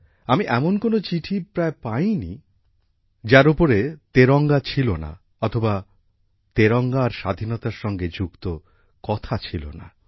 আমি এমন কোনও চিঠিই প্রায় পাই নি যার উপরে তেরঙ্গা ছিল না অথবা তেরঙ্গা আর স্বাধীনতার সঙ্গে যুক্ত কথা ছিল না